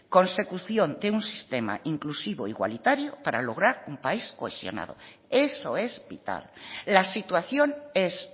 consecución de un sistema inclusivo igualitario para lograr un país cohesionado eso es vital la situación es